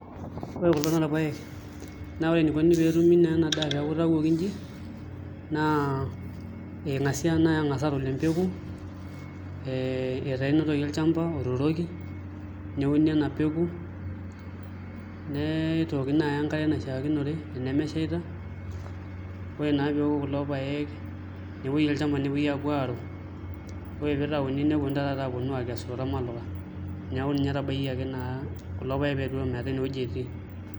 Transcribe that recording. Ore kulo naa irpaek naa ore enikoni pee etumi naa ena daa pee eeku itawuoki naa eng'asi ake naai aaun empeku ee etaa enotoki olchamba otuturoki neuni ena peku nitooki naai enkare naishiakinore enemeshaita ore naa pee eoku kulo paek nepuoi olchamba nepuoi aapuo aaru ore pee itauni nepuoi taa taata aaponu aakesu tormaluka neeku inye itabaikiaki naa kulo peak ometaa ena wuoi etii.